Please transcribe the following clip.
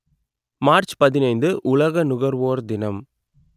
March பதினைந்து உலக நுகர்வோர் தினம்